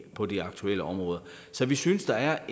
på de aktuelle områder så vi synes der er